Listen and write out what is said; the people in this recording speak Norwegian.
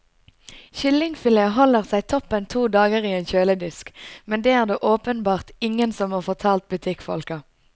Kyllingfilet holder seg toppen to dager i en kjøledisk, men det er det åpenbart ingen som har fortalt butikkfolka.